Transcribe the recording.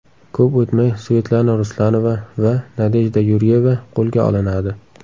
Ko‘p o‘tmay Svetlana Ruslanova va Nadejda Yuryeva qo‘lga olinadi.